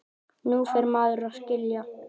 Nú fer maður að skilja!